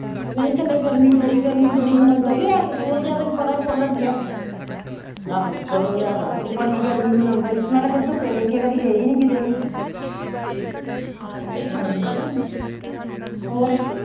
ਨਹੀਂ ਥੱਲੇ ਗਰਮੀ ਬੜੀ, ਗਰਮੀ ਬੜੀ ਮਨਾਉਂਦਾ ਈ ਓ ਤੈਨੂੰ ਪਤਾ ਪੋਲੜ ਜਿਹਾ ਬੜੀ ਗਰਮੀ ਮਨਾਉਂਦਾ ਈ, ਮੈਂ ਤਾਂ ਕਦੀ ਧੁੱਪੇ ਲੈ ਕੇ ਕਦੀ ਗਈ ਨੀ ਕਿਤੇ ਵੀ ਹੋਰ